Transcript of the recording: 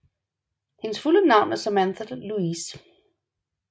Hendes fulde navn er Samantha Louise